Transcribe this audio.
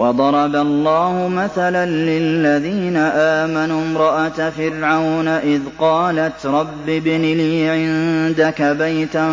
وَضَرَبَ اللَّهُ مَثَلًا لِّلَّذِينَ آمَنُوا امْرَأَتَ فِرْعَوْنَ إِذْ قَالَتْ رَبِّ ابْنِ لِي عِندَكَ بَيْتًا